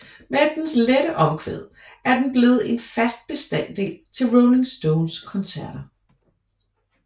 Med dens lette omkvæd er den blevet en fast bestanddel til Rolling Stones koncerter